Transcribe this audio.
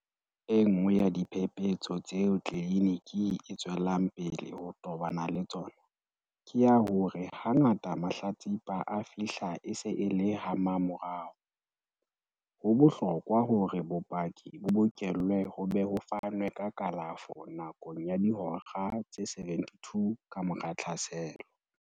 Enngwe ya diphephetso tseo tleliniki e tswelang pele ho tobana le tsona, ke ya hore hangata mahlatsipa a fihla e se e le hamamorao ho bohlokwa hore bopaki bo bokellwe ho be ho fanwe ka kalafo nakong ya dihora tse 72 kamora tlhaselo.